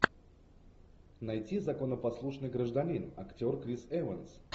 найти законопослушный гражданин актер крис эванс